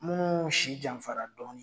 Munnu si janfara dɔni